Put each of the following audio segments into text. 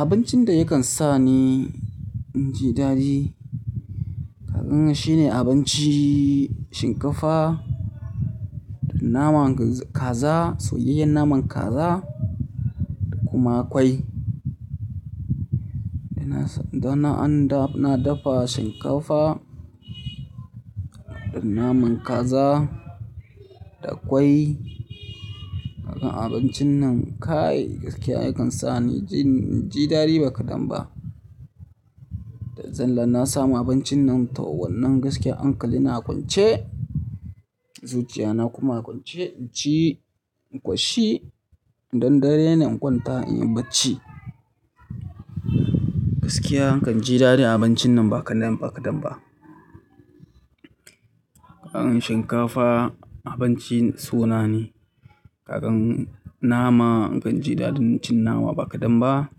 Abincin da yakan sa ni inji daɗi, kaga shi ne abinci shinkafa da naman kaza, soyayyen naman kaza da kuma kwai. Da na, da na an dafa shinkafa da naman kaza da kwai. Kakan abincin nan kayi, gaskiya yakan sa ni inji, inji daɗi ba kadan ba. Da zalla na samu abincin nan, tawon nan gaskiya hankali na kwance, zuciya na kuma a kwance in ci in koshi. Idan dare ne inkwanta in yi bacci. Gaskiya na kan ji daɗin abincin nan ba kadan ba, ba kadan ba. Kaman shinkafa. Abincin suna ne. Kagan nama ina jin daɗin cin nama ba kadan ba.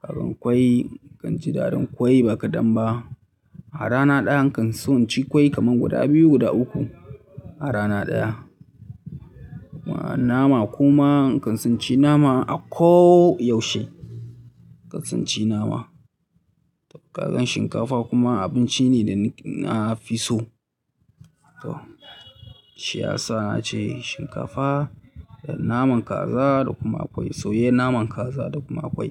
Kagan kwai inkan ji daɗin kwai ba kadan ba. A rana ɗaya nakan so in ci kwai kaman guda biyu, guda uku a rana ɗaya. Wannan nama kuma nakan so inci nama a ko yaushe. Nakan so na ci nama. Kagan shinkafa kuma, abinci ne da ni na fi so. Toh, shiyasa na ce shinkafa da naman kaza da kuma kwai, soyayyen naman kaza da kuma kwai.